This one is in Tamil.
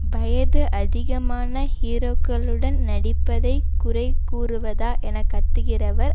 வயது அதிகமான ஹீரோக்களுடன் நடிப்பதை குறைகூறுவதா என கத்துகிறவர்